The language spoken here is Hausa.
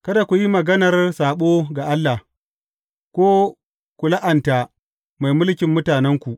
Kada ku yi maganar saɓo ga Allah, ko ku la’anta mai mulkin mutanenku.